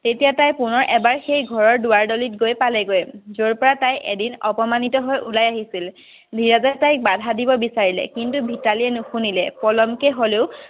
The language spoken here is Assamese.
তেতিয়া তাই পুনৰ এবাৰ সেই ঘৰৰ দোৱাৰ দলিত গৈ পালেগৈ যৰ পৰা তাই এদিন অপমানিত হৈ উলাই আহিছিল। ধীৰজে তাইক বাধা দিব বিচাৰিলে কিন্তু মিতালীয়ে নুশুনিলে, পলম কৈ হ'লেও